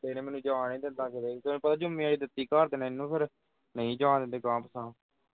ਇਹਨੇ ਮੈਨੂੰ ਜਾਣ ਨਹੀਂ ਦਿੱਤਾ ਕਿਤੇ ਵੀ। ਤੈਨੂੰ ਪਤਾ ਜੁੰਮੇਵਾਰੀ ਦਿੱਤੀ ਘਰਦਿਆਂ ਨੇ ਇਹਨੂੰ ਫਿਰ ਨਹੀਂ ਜਾਣ ਦਿੰਦੇ ਗਾਹ ਪਿਛਾਹ